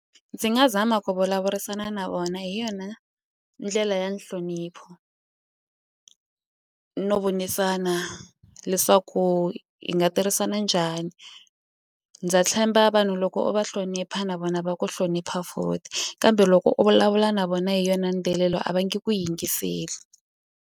Ndzi nga zama ku vulavurisana na vona hi yona ndlela ya nhlonipho no vonisana leswaku hi nga tirhisana njhani ndza tshemba vanhu loko va hlonipha na vona va ku hlonipha kambe loko u vulavula na vona hi yona a va nge ku yingiseli.